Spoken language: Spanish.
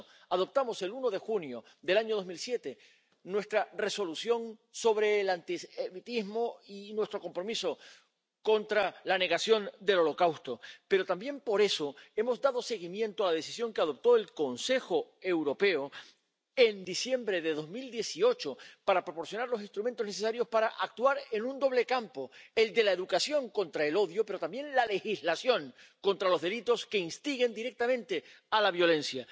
Por eso aprobamos el 1 de junio del año 2007 nuestra Resolución sobre el antisemitismo y nuestro compromiso contra la negación del Holocausto. Pero también por eso hemos dado seguimiento a la decisión que adoptó el Consejo Europeo en diciembre de 2018 para proporcionar los instrumentos necesarios para actuar en un doble campo el de la educación contra el odio, pero también la legislación contra los delitos que instiguen directamente a la violencia.